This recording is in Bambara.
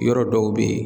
Yɔrɔ dɔw bɛ yen